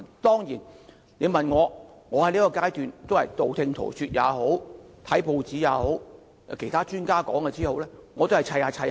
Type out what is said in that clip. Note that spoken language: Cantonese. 當然，我在此階段得到的資料也是道聽塗說，我把報章報道及其他專家的意見拼湊一起。